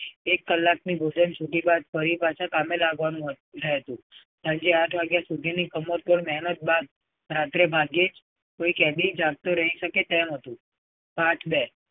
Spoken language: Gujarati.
એક કલાકની મુહિમ સુધી બાદ ફરી પાછા કામે લગવાનું હતું. પણ જે આઠ વાગ્યા સુધીની કમરતોડ મહેનત બાદ રાત્રે કોઈ ભાગ્યે જ કોઈ કેદી જાગતો રહી શકે તેમ હતું. part બે